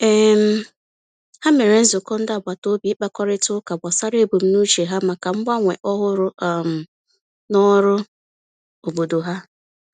um Ha mere nzukọ ndị agbataobi ịkpakọrịta ụka gbasara ebumnuche ha maka mgbanwe ọhụrụ um n'ọrụ obodo ha.